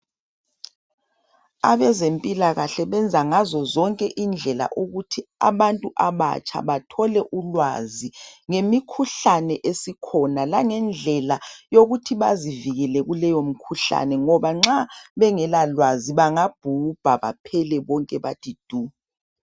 Abezempilakahle benza ngazozonke indlela ukuthi abantu abatsha bathole ulwazi ngemikhuhlane esikhona langendlela yokuthi bazivikele kuleyo mikhuhlane ngoba nxa bengela lwazi bangabhubha baphele bonke bathi du.